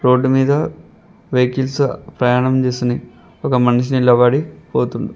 road మీద vehicles ప్రయాణం చేస్తున్నాయ్ ఒక మనిషి నిలబడి పోతు--